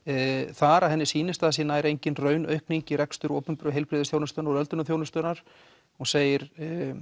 þar að henni sýnist að það sé nær engin raun aukning í rekstur opinberra heilbrigðis og öldrunarþjónustunnar hún segir